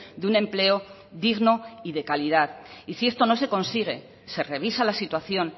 de un empleo digno y de calidad y sí esto no se consigue se revisa la situación